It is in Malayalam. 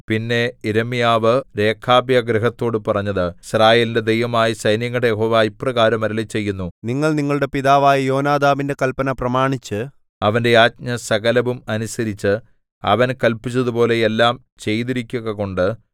പിന്നെ യിരെമ്യാവ് രേഖാബ്യഗൃഹത്തോടു പറഞ്ഞത് യിസ്രായേലിന്റെ ദൈവമായ സൈന്യങ്ങളുടെ യഹോവ ഇപ്രകാരം അരുളിച്ചെയ്യുന്നു നിങ്ങൾ നിങ്ങളുടെ പിതാവായ യോനാദാബിന്റെ കല്പന പ്രമാണിച്ച് അവന്റെ ആജ്ഞ സകലവും അനുസരിച്ച് അവൻ കല്പിച്ചതുപോലെ എല്ലാം ചെയ്തിരിക്കുകകൊണ്ട്